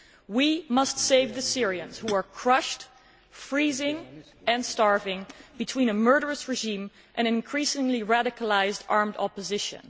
We must save the Syrians who are crushed, freezing and starving between a murderous regime and increasingly radicalised armed opposition.